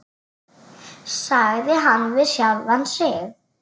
sagði hann við sjálfan sig.